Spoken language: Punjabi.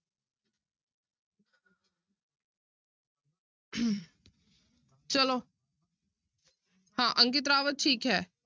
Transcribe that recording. ਚਲੋ ਹਾਂ ਅੰਕਿਤ ਰਾਵਤ ਠੀਕ ਹੈ।